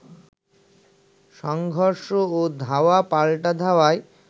সংঘর্ষ ও ধাওয়া পাল্টা ধাওয়ায়